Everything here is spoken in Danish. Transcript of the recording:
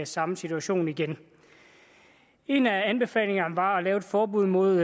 samme situation igen en af anbefalingerne var at lave et forbud mod